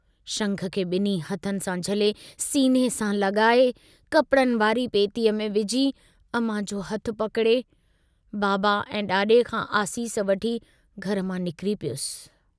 शंख खे ब॒न्हीं हथनि सां झले सीने सां लगाए, कपिड़नि वारी पेतीअ में विझी, अमां जो हथु पकिड़े, बाबा ऐं डाड़े खां आसीस वठी घर मां निकिरी पियुसि।